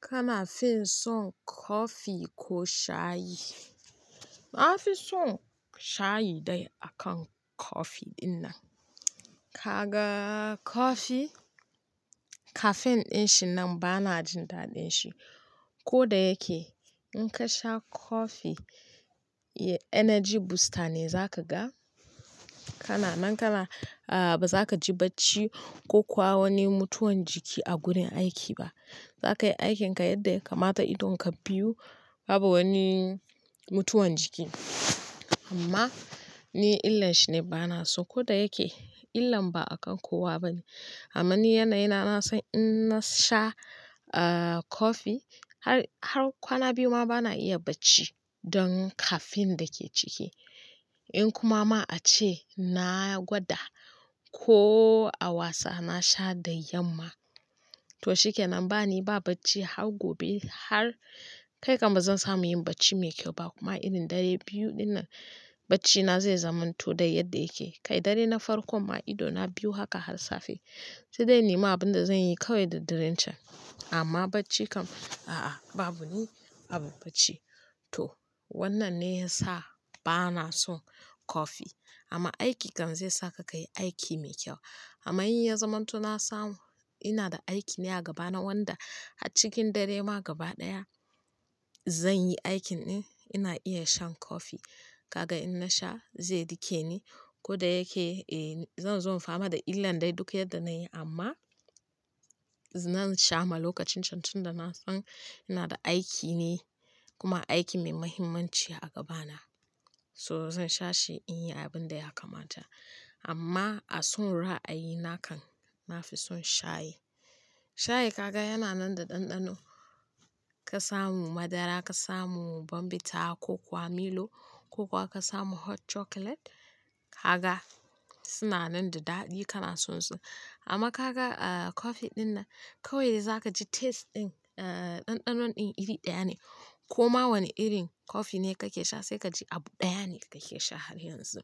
Kana finson coffee ko shayi. Na fi son shayi dai akan coffee dinnan. Kaga coffee caffeine dinshi nan bana jin daɗinshi. Ko da yake in ka sha coffee energy booster ne za ka ga. Kana nan kana a ba za ka ji bacci ko kuwa wani mutuwan jiki a gurin aiki ba. Za ka yi aikinka yadda ya kamata idonka biyu babu wani mutuwan jiki. Amma ni illan shine bana so. Ko da yake illan ba akan kowa bane. Amma ni yanayi na na san in na sha a coffee har, har kwana biyu ma bana iya bacci don caffeine dake ciki. In kuma ma ace na gwada ko a wasa na sha da yamma. To shikenan bani ba bacci har gobe har kai kam bazan samu yin bacci mai kyau ba kuma irin dare biyu dinnan bacci na zai zamanto dai yadda yake. Kai dare na farkon ma ido na biyu haka har safe. Sai dai inne ma abinda zan yi kawai da daren can. Amma bacci kam a a babu ni abin bacci. To wannan ne ya sa bana son coffee amma aiki kan zai sa ka kayi aiki mai kyau. Amma in ya zamanto na samu ina da aiki ne a gabana wanda a cikin dare ma gaba daya zan yi aikin din ina iya shan coffee. Kaga in na sha zai rike ni ko da yake eh zan zo in fama da illan dai duk yadda na yi amma zan sha ma lokacin can tun da na san ina da aiki ne kuma aiki mai muhimmanci a gabana. So zan sha shi in yi abin da ya kamata. Amma a son ra'ayi nakan na fi son shayi. Shayi kaga yana nan da ɗanɗano. Ka samu madara, ka samu Bonvita ko kuwa Milo ko kuwa ka samu hot chocolate. Kaga suna nan da daɗi in kana son su. Amma kaga a coffee dinnan kawai dai za ka ji taste din a ɗanɗano din iri ɗaya ne. Koma wane irin coffee ne kake sha sai ka ji abu ɗaya ne kake sha har yanzu.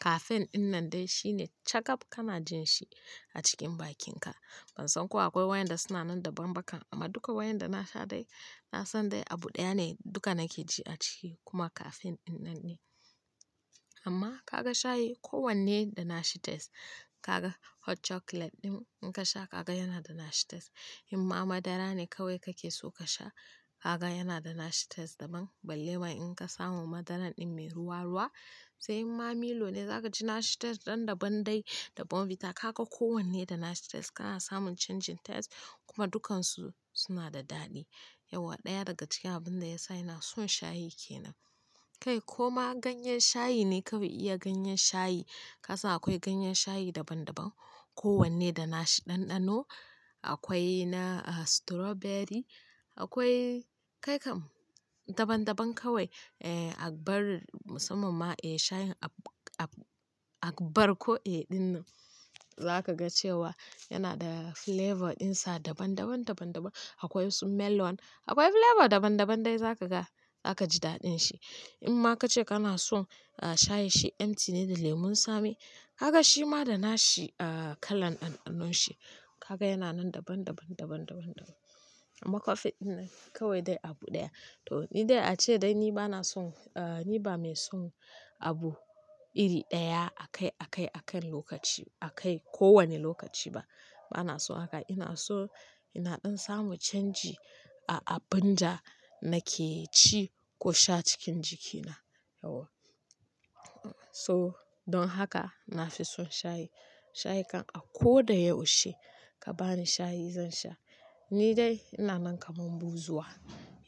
Caffeine dinnan dai shine cakab kana jin shi a cikin bakinka. Ban san ko akwai wayanda suna nan da banbaka amma duka wayanda na sha dai na san dai abu ɗaya ne duka nake ji a ciki kuma caffeine dinnan ne. Amma kaga shayi ko wanne da na shi taste kaga hot chocolate din in ka sha kaga yana da na shi taste. In ma madara ne kawai kake so ka sha kaga yana da na shi taste daban. Balle wai in ka samu madaran din mai ruwa-ruwa. Sai in ma Milo ne za ka ji na shi taste dan dabam dai da Bonvita. Kaga kowanne da na shi taste kana samun changing taste kuma dukansu suna da daɗi. Yauwa ɗaya daga cikin abinda ya sa ina son shayi ke nan. Kai koma ganyen shayi ne kawai iya ganyen shayi. Ka san akwai ganyen shayi daban-daban. Ko wanne da na shi ɗanɗano. Akwai na a strawberry akwai kai kam daban-daban kawai. Eh abar musamman ma eh shayin ab-ab-agbar ko en dinnan. Za ka ga cewa yana da flavor ɗin sa daban-daban daban-daban. Akwai su melon akwai flavor daban-daban dai za ka ga. Za ka ji daɗin shi. In ma ka ce kana son a shayi shi empty ne da lemun tsami. Kaga shi ma da na shi a kalan ɗanɗano shi. Kaga yana nan daban-daban daban-daban-daban. Amma coffee dinnan kawai dai abu ɗaya. To ni dai ace dai ni bana son a ni ba mai son abu iri ɗaya akai, akai, akan lokaci. Akai ko wane lokaci ba. Bana son haka. Ina son, ina ɗan samu change a abinda nake ci ko sha cikin jikina. Yauwa. So don haka na fi son shayi. Shayi kan a ko da yaushe ka bani shayi zan sha. Ni dai ina nan kamar buzuwa.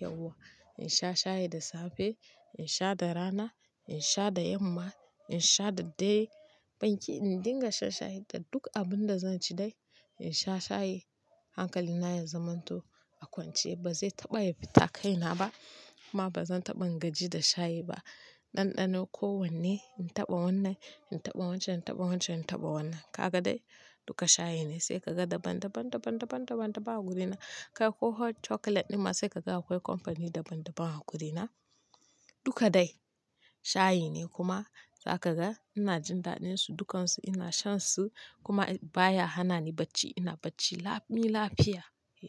Yauwa. In sha shayi da safe, in sha da rana, in sha da yamma, in sha da dare. Ban ki in dinga shan shayi da duk abinda zan ci dai in sha shayi. Hankali na ya zamanto a kwance ba zai taɓa yafi ta kaina ba kuma ba zan taɓa ingaji da shayi ba. Ɗanɗano ko wanne in taɓa wannan, in taɓa wancan, in taɓa wancan, in taɓa wannan. Kaga dai duka shayi ne sai kaga daban-daban daban-daban daban-daban a wurina. Kai ko hot chocolate dinnan sai kaga akwai company daban-daban a wurina. Duka dai shayi ne kuma za ka ga ina jin daɗin su dukansu ina shan su kuma baya hana ni bacci. Ina bacci lami lafiya.